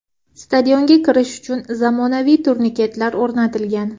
Stadionga kirish uchun zamonaviy turniketlar o‘rnatilgan .